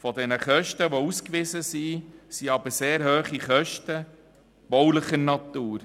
Von den ausgewiesenen Kosten sind aber sehr hohe Kosten baulicher Natur.